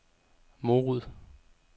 Morud